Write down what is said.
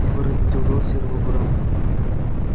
его разбудил голос серого бобра